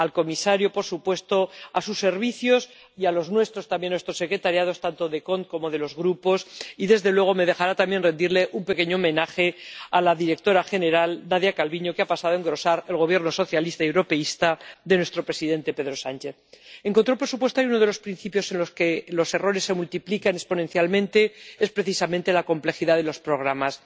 dar las gracias al comisario, por supuesto, a sus servicios y a los nuestros también, a nuestras secretarías, tanto de la Comisión CONT como de los grupos y, desde luego, me dejará también rendirle un pequeño homenaje a la directora general, Nadia Calviño, que ha pasado a engrosar el Gobierno socialista y europeísta de nuestro presidente, Pedro Sánchez. En control presupuestario, uno de los principios en los que los errores se multiplican exponencialmente es precisamente la complejidad de los programas.